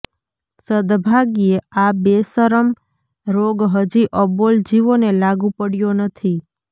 સદ્ ભાગ્યે આ બેશરમ રોગ હજી અબોલ જીવોને લાગુ પડયો નથી